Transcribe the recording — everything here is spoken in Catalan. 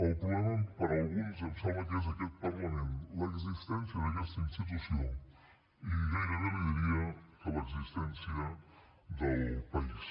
el problema per a alguns em sembla que és aquest parlament l’existència d’aquesta institució i gairebé li diria que l’existència del país